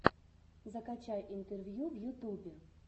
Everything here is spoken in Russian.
закачай интервью в ютубе